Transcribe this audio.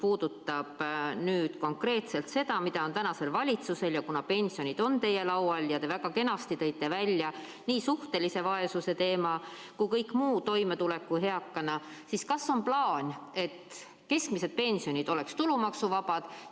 Kuna pensionid on teie laual ja te tõite väga kenasti välja nii suhtelise vaesuse teema kui ka kõik muu, näiteks eakana toimetuleku küsimuse, siis kas teil on plaan, et keskmised pensionid oleksid tulumaksuvabad?